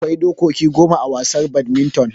Akwai dokoki goma a wasar badminton